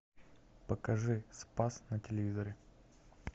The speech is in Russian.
покажи спас на телевизоре